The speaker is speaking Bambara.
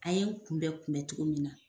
A ye kunbɛn kunbɛn togo min na